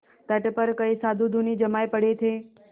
तट पर कई साधु धूनी जमाये पड़े थे